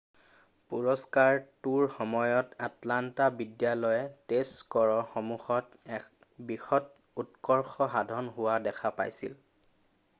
পুৰস্কাৰটোৰ সময়ত আটলান্টা বিদ্যালয়ে টেষ্ট স্ক'ৰসমূহত এক বৃহৎ উৎকৰ্ষ সাধন হোৱা দেখা পাইছিল৷